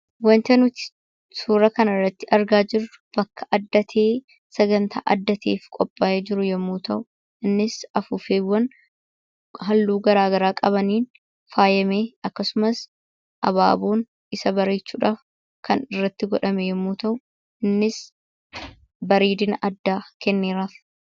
Waanta nuti suura kana irratti argaa jirru, bakka adda ta'ee, sagantaa adda ta'ee qophaa'ee jiru yemmuu ta'u, innis afuuffeewwan halluu garaagaraa qabaniin faayamee akkasumas abaaboon isa bareechuudhaaf kan irratti godhame yemmuu ta'u, innis bareedina addaa kenneeraaf.